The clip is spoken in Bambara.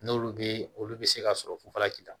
N'olu bɛ olu bɛ se ka sɔrɔ fufalaki ta